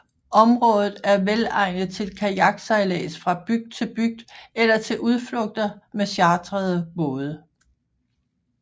Området er velegnet til kajaksejlads fra bygd til bygd eller til udflugter med chartrede både